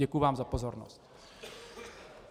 Děkuji vám za pozornost.